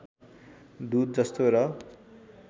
दुध जस्तो र